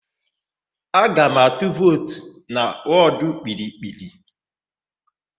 Aga m atụ vootu na wọdụ Kpiri-kpiri.